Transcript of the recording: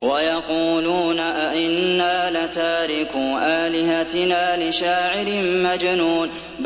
وَيَقُولُونَ أَئِنَّا لَتَارِكُو آلِهَتِنَا لِشَاعِرٍ مَّجْنُونٍ